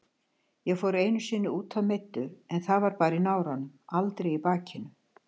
Ég fór einu sinni útaf meiddur en það var bara í náranum, aldrei í bakinu.